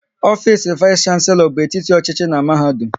Ofisi vais shanselo bụ etiti ọchịchị n'mahadum